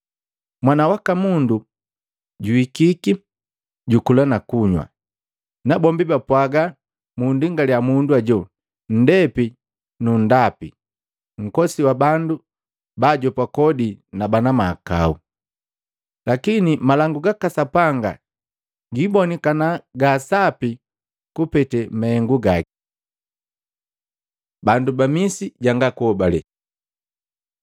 Mwana waka Mundu juhikiki, jukula na kunywa, nabombi bapwaaga, ‘Mundingaliya mundu hajo, nndepi nu nndapi, nkosi wa bandu baajopa kodi na bana mahakau!’ Lakini malangu gaka Sapanga jiibonikana ja sapi kupete mahengu gaki.” Bandu ba Misi janga kuobale Luka 10:13-15